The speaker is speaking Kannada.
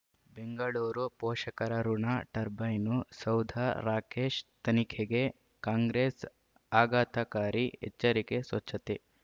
ಬೆಂಗಳೂರು ಪೋಷಕರಋಣ ಟರ್ಬೈನು ಸೌಧ ರಾಕೇಶ್ ತನಿಖೆಗೆ ಕಾಂಗ್ರೆಸ್ ಆಘಾತಕಾರಿ ಎಚ್ಚರಿಕೆ ಸ್ವಚ್ಛತೆ